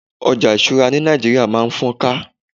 ojo isura ni Naijiria ma n fọ́ká